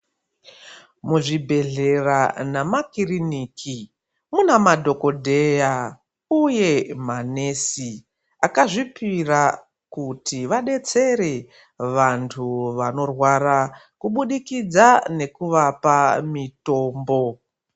Muzvibhehlera namakiriniki muna madhokodheya uye manesi akazvipira kuti vadetsere vantu vanorwara kubudikidza nekuvapa mutombo.